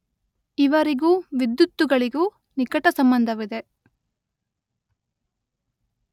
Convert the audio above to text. ಇವರಿಗೂ ವಿದ್ಯುತ್ತುಗಳಿಗೂ ನಿಕಟಸಂಬಂಧವಿದೆ.